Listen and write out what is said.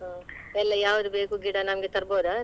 ಹ್ಮ್ ಎಲ್ಲಾ ಯಾವುದು ಬೇಕು ಗಿಡ ಎಲ್ಲಾ ತರ್ಬೋದಾ?